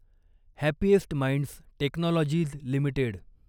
happiest minds technologies limited